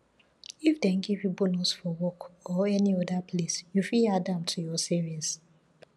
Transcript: if dem give you bonus for work or any oda place you fit add am to your savings